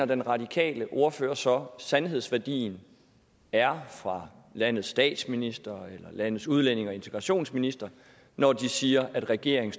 den radikale ordfører så sandhedsværdien er fra landets statsminister eller landets udlændinge og integrationsminister når de siger at regeringen